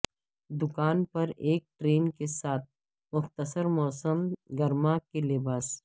دکان پر ایک ٹرین کے ساتھ مختصر موسم گرما کے لباس